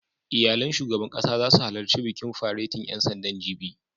Iyalan shugaban ƙasa zasu halarci bikin faretin ƴan sandan, jibi